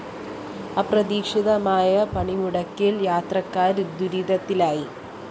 അപ്രതീക്ഷിതമായ പണിമുടക്കില്‍ യാത്രക്കാര്‍ ദുരിതത്തിലായി